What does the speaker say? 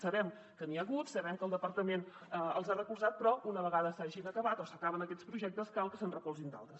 sabem que n’hi ha hagut sabem que el departament els ha recolzat però una vegada s’hagin acabat o s’acaben aquests projectes cal que se’n recolzin d’altres